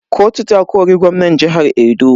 Kotu ta kori gwamnan jihar Edo.